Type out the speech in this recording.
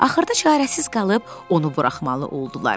Axırda çarəsiz qalıb onu buraxmalı oldular.